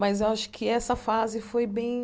Mas eu acho que essa fase foi bem...